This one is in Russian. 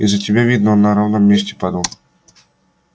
из-за тебя видно он на ровном месте падал